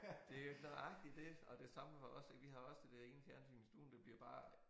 Det nøjagtig det og det samme for os ik vi har også det der ene fjernsyn i stuen det bliver bare